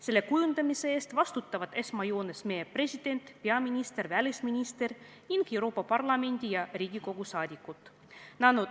Selle kujundamise eest vastutavad esmajoones meie president, peaminister, välisminister ning Euroopa Parlamendi ja Riigikogu liikmed.